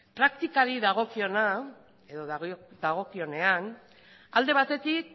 praktikari dagokionean alde batetik